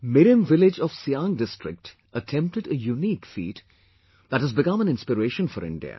Mirem village of Siang district attempted a unique feat, that has become an inspiration for India